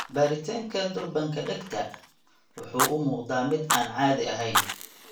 Baaritaanka, durbaanka dhegta (xuubka tympanic) wuxuu u muuqdaa mid aan caadi ahayn.